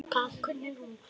Hún þagði döpur.